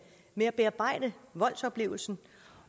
med at bearbejde voldsoplevelsen